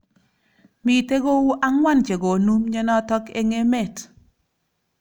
Mitei kou ang'wan chekonu mnyenot eng emet.